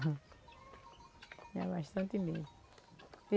Tinha bastante medo.